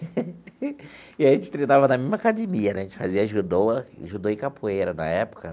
E aí a gente treinava na mesma academia né, a gente fazia judô judô e capoeira na época.